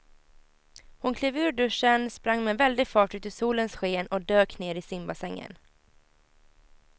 Hon klev ur duschen, sprang med väldig fart ut i solens sken och dök ner i simbassängen.